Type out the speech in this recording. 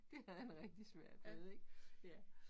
Det havde han rigtig svært ved ik ja